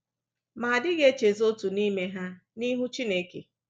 Ma a dịghị echezọ otu n’ime ha n’ihu Chineke.